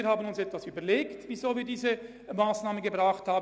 Wir haben uns etwas überlegt, bevor wir diese Massnahme vorgebracht haben.